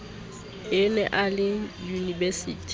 a ne a le unibesiting